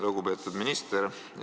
Lugupeetud minister!